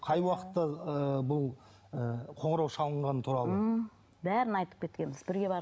қай уақытта ы бұл ы қоңырау шалынғаны туралы ммм бәрін айтып кеткенбіз бірге барып